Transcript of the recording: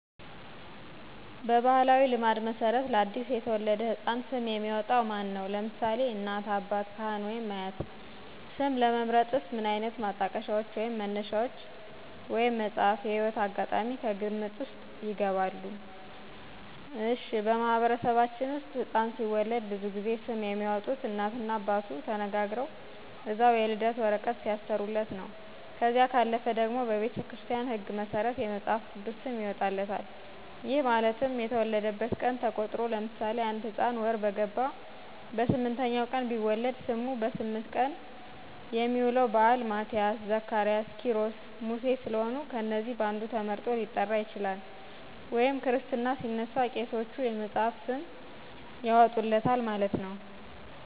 በባሕላዊ ልማድ መሠረት ለ አዲስ የተወለደ ሕፃን ስም የሚያወጣዉ ማን ነው? (ለምሳሌ: እናት፣ አባት፣ ካህን ወይም አያት) ስም ለመምረጥስ ምን ዓይነት ማጣቀሻዎች ወይንም መነሻዎች (መጽሃፍት፣ የህይወት አጋጣሚ...) ከግምት ዉስጥ ይገባሉ? እሽ:-በማህበረሰባችን ውስጥ ህፃን ሲወለድ ብዙ ጊዜ ስም የሚያወጡት እናት እና አባቱ ተነጋግረው እዛው የልደት ወረቀት ሲያሰሩለት ነው። ከዚያ ካለፈ ደግሞ በቤተክርስቲያን ህግ መሠረት የመፅሐፍ ቅዱስ ስም ይወጣለታል። ይህ ማለት የተወለደበት ቀን ተቆጥሮ ለምሳሌ:- አንድ ህፃን ወር በገባ በ08ኛው ቀን ቢወለድ ስሙ ,በስምንት የሚውለው በአል ማቲያስ, ዘካሪያስ, ኪሮስ, ሙሴ ስለሆኑ ከነዚህ በአንዱ ተመርጦ ሊጠራ ይችላል። ወይም ክርስትና ሲነሳ ቄሶቹ የመፅሐፍ ስም ያወጡለታል ማለት ነው።